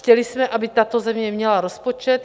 Chtěli jsme, aby tato země měla rozpočet.